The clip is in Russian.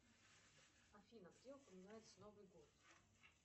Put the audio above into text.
афина где упоминается новый год